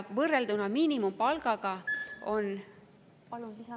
Palun lisaminuteid.